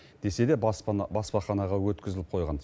десе де баспана баспаханаға өткізіліп қойған